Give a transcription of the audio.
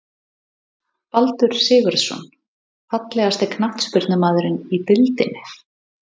Baldur Sigurðsson Fallegasti knattspyrnumaðurinn í deildinni?